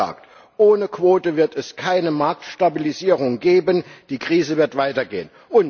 Kurz gesagt Ohne Quote wird es keine Marktstabilisierung geben, die Krise wird weitergehen.